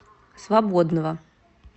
свободного